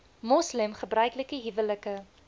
moslem gebruiklike huwelike